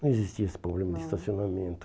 Não existia esse problema de estacionamento.